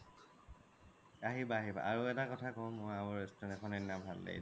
আহিবা আহিবা আৰু এটা ক্থা কও আৰু restaurant এখন সেইদিনা ভাল লাগিলে